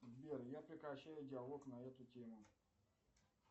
сбер я прекращаю диалог на эту тему